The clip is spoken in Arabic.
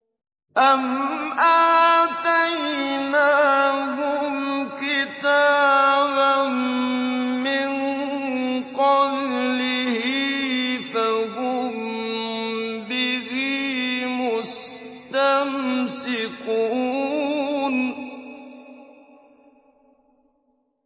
أَمْ آتَيْنَاهُمْ كِتَابًا مِّن قَبْلِهِ فَهُم بِهِ مُسْتَمْسِكُونَ